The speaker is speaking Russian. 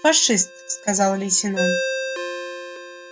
фашист сказал лейтенант